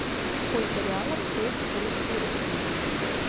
сколько реалов стоят русские рубли